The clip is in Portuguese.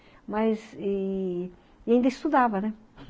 mas e, e ainda estudava né?